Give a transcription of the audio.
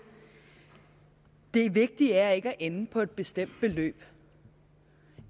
det vigtige er ikke at ende på et bestemt beløb